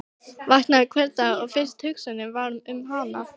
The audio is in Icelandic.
Vaknaði hvern dag og fyrsta hugsunin væri um hann.